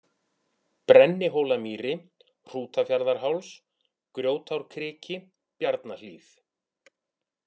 Brennihólamýri, Hrútafjarðarháls, Grjótárkriki, Bjarnahlíð